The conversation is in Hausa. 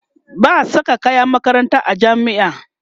ba'a Saka kayan makaranta a jami'a